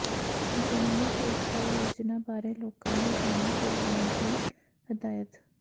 ਜਨਨੀ ਸੁਰੱਖਿਆ ਯੋਜਨਾ ਬਾਰੇ ਲੋਕਾਂ ਨੂੰ ਜਾਣੂੰ ਕਰਾਉਣ ਦੀ ਹਦਾਇਤ